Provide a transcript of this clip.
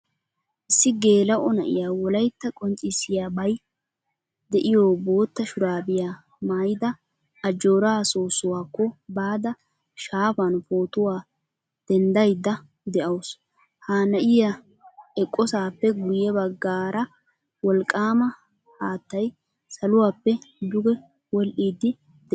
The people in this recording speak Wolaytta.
Issi gelao na'iyaa wolaytta qonccisiyabay deiyo bootta shurabiyaa mayda ajjora soosuwaakko baada shaafan pootuwaa denddaydda deawusu. Ha na'iyaa eqqosappe guye baggara wolqqama haattay saluwaappe dugge wodhdhidi de'ees.